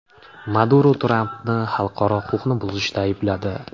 Maduro Trampni xalqaro huquqni buzishda aybladi.